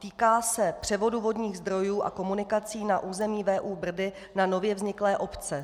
Týká se převodu vodních zdrojů a komunikací na území VÚ Brdy na nově vzniklé obce.